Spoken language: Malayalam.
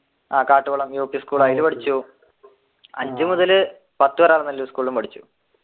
ആഹ് യൂ പി സ്കൂൾ അതിൽ പഠിച്ചു അഞ്ചു മുതൽ പത്തു വരെ സ്കൂളിൽ പഠിച്ചു